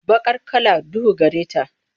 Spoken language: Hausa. Baqar kala duhu gare ta.